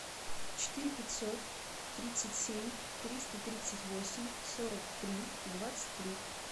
четыре пятьсот тридцать семь триста тридцать восемь сорок три двадцать три